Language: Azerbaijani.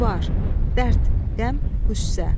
Qubar, dərd, qəm, qüssə.